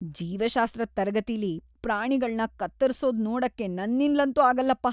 ಜೀವಶಾಸ್ತ್ರದ್ ತರಗತಿಲಿ ಪ್ರಾಣಿಗಳ್ನ ಕತ್ತರ್ಸೋದ್ ನೋಡಕ್ಕೆ ನನ್ನಿಂದ್ಲಂತೂ ಆಗಲ್ಲಪ್ಪ.